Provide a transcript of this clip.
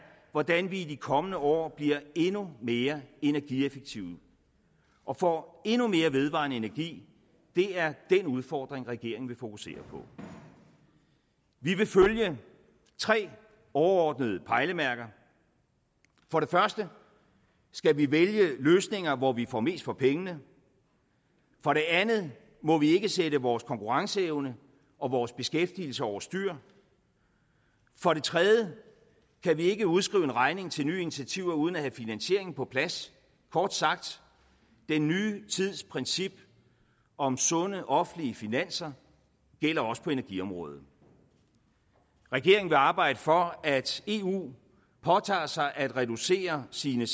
hvordan vi i de kommende år bliver endnu mere energieffektive og får endnu mere vedvarende energi det er den udfordring regeringen vil fokusere på vi vil følge tre overordnede pejlemærker for det første skal vi vælge løsninger hvor vi får mest for pengene for det andet må vi ikke sætte vores konkurrenceevne og vores beskæftigelse over styr for det tredje kan vi ikke udskrive en regning til nye initiativer uden at have finansieringen på plads kort sagt den nye tids princip om sunde offentlige finanser gælder også på energiområdet regeringen vil arbejde for at eu påtager sig at reducere sine